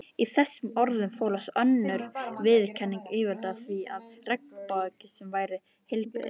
Í þessum orðum fólst önnur viðurkenning yfirvalda á því að regnbogasilungurinn væri heilbrigður.